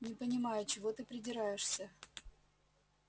не понимаю чего ты придираешься